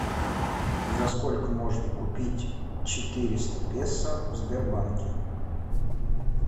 за сколько можно купить четыреста песо в сбербанке